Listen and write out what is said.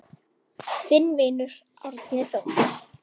Þinn vinur, Árni Þór.